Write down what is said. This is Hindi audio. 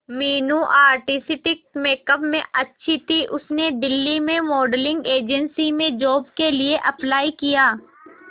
मीनू आर्टिस्टिक मेकअप में अच्छी थी उसने दिल्ली में मॉडलिंग एजेंसी में जॉब के लिए अप्लाई किया